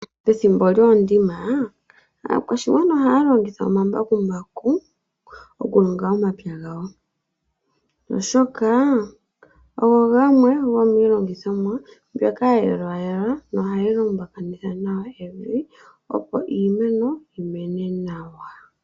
Pethimbo lyoondima, aakwashigwana ohaya longitha omambakumbaku okulonga omapya gawo, oshoka ogo gamwe gomiilongithomwa mbyoka ya yelwayelwa, nohayi lumbakanitha nawa evi, opo iimeno yimene nawa.